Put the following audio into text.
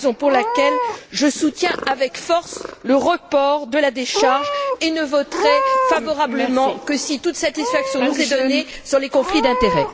C'est la raison pour laquelle je soutiens avec force le report de la décharge et ne voterai favorablement que si toute satisfaction nous est donnée sur les conflits d'intérêt.